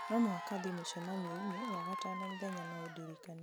no mũhaka thiĩ mũcemanio-inĩ wagatano mũthenya no ũndirikanie